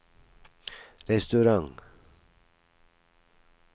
restaurant